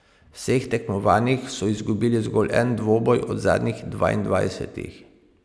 V vseh tekmovanjih so izgubili zgolj en dvoboj od zadnjih dvaindvajsetih.